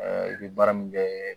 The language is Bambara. i bɛ baara min kɛ